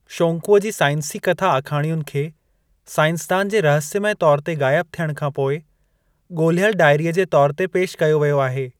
शोंकूअ जी साइंसी कथा आखाणियुनि खे, साइंसदान जे रहस्यमय तौर ते ग़ाइब थियण खां पोइ ॻोलिहियल डायरीअ जे तौर ते पेश कयो वियो आहे।